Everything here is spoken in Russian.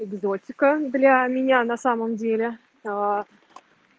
экзотика для меня на самом деле аа